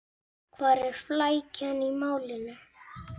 Hvar er flækjan í málinu?